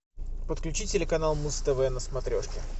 подключи телеканал муз тв на смотрешке